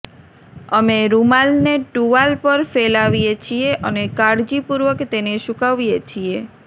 અમે રૂમાલને ટુવાલ પર ફેલાવીએ છીએ અને કાળજીપૂર્વક તેને સૂકવીએ છીએ